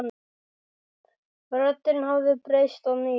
Röddin hafði breyst að nýju.